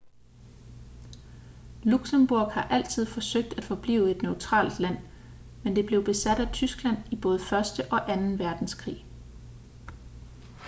luxembourg har altid forsøgt at forblive et neutralt land men det blev besat af tyskland i både første og anden verdenskrig